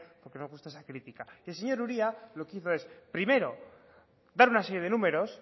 porque no os gusta esa crítica y el señor uria lo que hizo es primero dar una serie de números